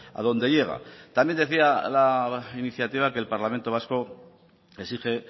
a dónde llega también decía la iniciativa que el parlamento vasco exige